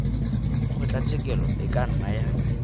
kgotlatshekelo e ka nna ya